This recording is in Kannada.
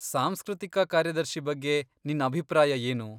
ಸಾಂಸ್ಕೃತಿಕ ಕಾರ್ಯದರ್ಶಿ ಬಗ್ಗೆ ನಿನ್ ಅಭಿಪ್ರಾಯ ಏನು?